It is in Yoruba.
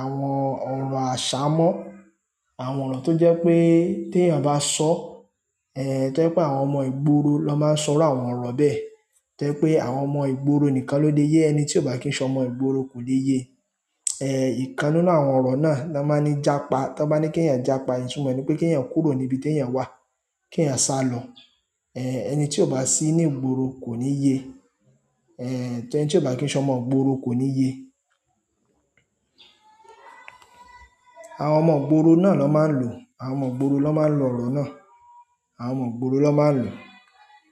àwọn ọ̀rọ̀ àṣámọ́. Àwọn ọ̀rọ̀ tó jẹ́ pé tí èèyàn bá sọ. Ẹn tó jẹ́ pé àwọn ọmọ ìgboro ló máa ń sọ irú àwọn ọ̀rọ̀ bẹ́ẹ̀. Tó jẹ́ pé àwọn ọmọ ìgboro nìkan ló lè yé ẹni tí ò bá kí ń sọmọ ìgboro kò le yé e. Ẹn ìkan nínú àwọn ọ̀rọ̀ náà ni'wọ́n n máa ní jápa. Tí wọ́n bá ní kí ẹ̀yàn jápa, ìtunmọ̀ ẹ̀ ni pé kí ẹ̀yàn kúrò ní ibi tí ẹ̀yàn wà, kí ẹ̀yàn sálọ. Ẹ ẹni tí ò bá sí ní ìgboro kò ní yé. Ẹ ẹni tí ò bá kí ń sọ ọmọ ìgboro kò ní yé. Àwọn ọmọ ìgboro náà ni wọ́n máa ń lò ó, àwọn ọmọ ìgboro ni wọ́n máa ń lò ọ̀rọ̀ náà. Àwọn ọmọ ìgboro ló máa ń lò.